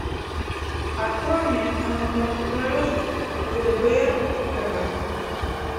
открой мне на смотрешке лдпр тв